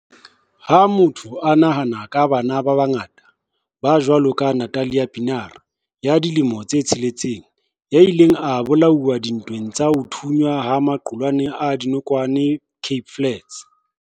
Ha motho a nahana ka bana ba bangata, ba jwalo ka Nathlia Pienaar, ya dilemo tse tsheletseng, ya ileng a bola uwa dintweng tsa ho thunyana ha maqulwana a dinokwane Cape Flats.